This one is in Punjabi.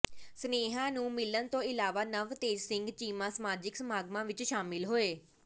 ਸਨੇਹੀਆਂ ਨੂੰ ਮਿਲਣ ਤੋਂ ਇਲਾਵਾ ਨਵਤੇਜ ਸਿੰਘ ਚੀਮਾ ਸਮਾਜਿਕ ਸਮਾਗਮਾਂ ਵਿਚ ਸ਼ਾਮਲ ਹੋਏ